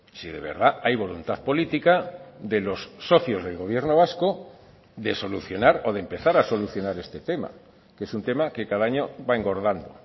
si de verdad hay voluntad política de los socios del gobierno vasco de solucionar o de empezar a solucionar este tema que es un tema que cada año va engordando